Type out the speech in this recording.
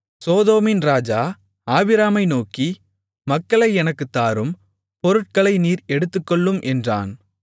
சோதோமின் ராஜா ஆபிராமை நோக்கி மக்களை எனக்குத் தாரும் பொருட்களை நீர் எடுத்துக்கொள்ளும் என்றான்